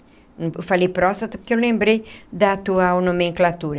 Eu falei próstata porque eu lembrei da atual nomenclatura.